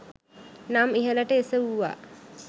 නම් ඉහළට එසවුවා.